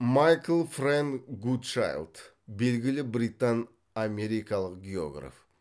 майкл фрэнк гудчайлд белгілі британ америкалық географ